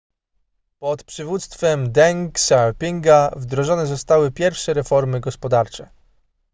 pod przywództwem deng xiaopinga wdrożone zostały pierwsze reformy gospodarcze